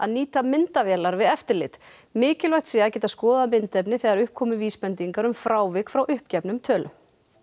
nýta myndavélar við eftirlit mikilvægt sé að geta skoðað myndefni þegar upp komi vísbendingar um frávik frá uppgefnum tölum